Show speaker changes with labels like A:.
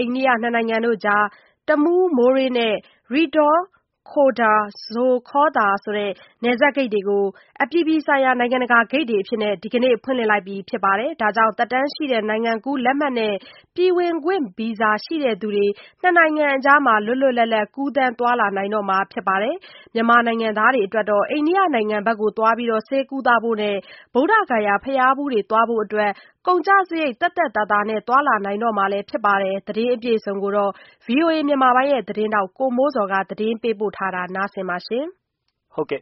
A: အိန္ဒိယ နှစ်နိုင်ငံအကြား တမူး-မိုးရေး နဲ့ ရိဒ်ခေါရ်ဒါ-ဇိုခေါသာ နယ်စပ်ဂိတ်တို့ကို အပြည်ပြည်ဆိုင်ရာ ဂိတ်များအဖြစ် ဒီကနေ့ဖွင့်လှစ်လိုက်တာကြောင့်သက်တမ်းရှိ နိုင်ငံကူးလက်မှတ်နဲ့ ပြည်ဝင်ခွင့် ဗီဇာပါရှိ သူတွေဟာ နှစ်နိုင်ငံအကြား လွတ်လွတ်လပ်လပ်ကူးသန်းသွားလာနိုင်တော့မှာဖြစ်ပါတယ်။ မြန်မာနိုင်ငံသား တွေအတွက် အိန္ဒိယနိုင်ငံဖက်ကို ဆေးကုသဖို့နဲ့ ဗုဒ္ဓဂါယာဘုရားဖူးသွားဖို့တွေကို ကုန်ကျစရိတ် သက်သက် သာသာနဲ့သွားလာနိုင်တော့မှာလည်း ဖြစ်ပါတယ်။ ဒီသတင်းကိုတော့ ဗွီအိုအေမြန်မာပိုင်းရဲ့သတင်းထောက် ကိုမိုးဇော်က တင်ပြထားပါတယ်